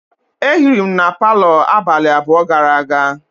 E hiri m na palo abalị abụọ gara aga.